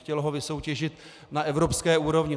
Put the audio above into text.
Chtělo ho vysoutěžit na evropské úrovni.